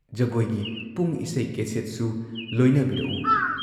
ꯖꯒꯣꯏꯒꯤ ꯄꯨꯡ ꯏꯁꯩ ꯀꯦꯁꯦꯠꯁꯨ ꯂꯣꯏꯅꯕꯤꯔꯛꯎ ꯫